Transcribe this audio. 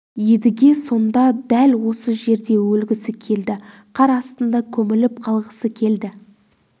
едіге сонда дәл осы жерде өлгісі келді қар астында көміліп қалғысы келді